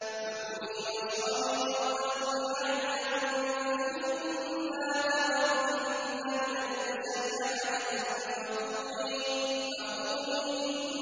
فَكُلِي وَاشْرَبِي وَقَرِّي عَيْنًا ۖ فَإِمَّا تَرَيِنَّ مِنَ الْبَشَرِ أَحَدًا فَقُولِي إِنِّي نَذَرْتُ